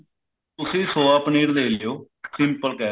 ਤੁਸੀਂ soya ਪਨੀਰ ਲੇ ਲਿਓ simple